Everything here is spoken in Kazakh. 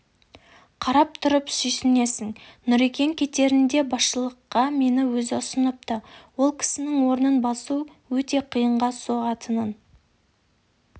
қарап тұрып сүйсінесің нүрекең кетерінде басшыларға мені өзі ұсыныпты ол кісінің орнын басу өте қиынға соғатынын